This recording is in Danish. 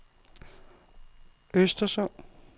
Östersund